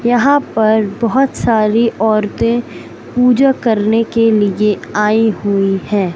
यहां पर बहोत सारी औरतें पूजा करने के लिए आई हुई है।